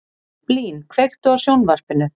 Blín, kveiktu á sjónvarpinu.